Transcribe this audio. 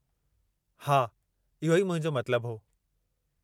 हा, इहो ई मुंहिंजो मतिलबु हो।